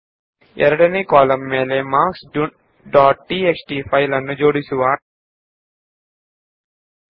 ಈಗ ನಾವು marks dot TXT file ನ ಎರಡನೇಯ ಕಾಲಂನ ಪ್ರಕಾರ ವಿಂಗಡಣೆ ಮಾಡೋಣ